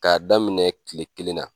K'a daminɛ kile kelen na.